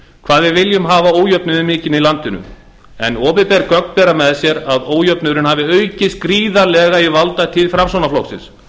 hvað við viljum hafa ójöfnuðinn mikinn í landinu en opinber gögn bera með sér að ójöfnuðurinn hafi aukist gríðarlega í valdatíð framsóknarflokksins